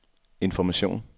information